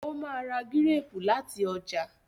o má rà Gírèèpù lati ọjà